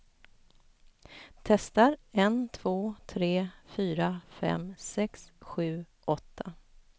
Testar en två tre fyra fem sex sju åtta.